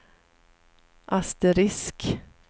asterisk